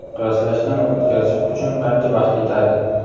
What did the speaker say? Qiyoslashdan o‘tkazish uchun qancha vaqt ketadi?.